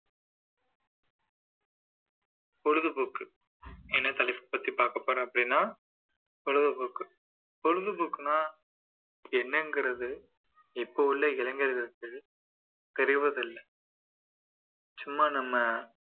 பொழுதுபோக்கு என்ன தலைப்பை பத்தி பாக்கப்போறேன் அப்படின்னா பொழுதுபோக்கு பொழுதுபோக்குன்னா என்னங்குறது இப்போ உள்ள இளைஞர்களுக்கு தெரிவதில்லை சும்மா நம்ம